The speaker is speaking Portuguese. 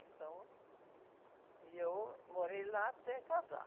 Então, e eu morei lá até casar.